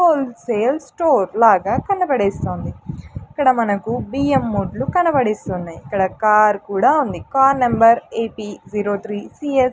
Whole sale store లాగా కనబడేస్తోంది ఇక్కడ మనకు బియ్యం మూటలు కనబడిస్తున్నాయి ఇక్కడ కార్ కూడా ఉంది. Car number A P zero three C S --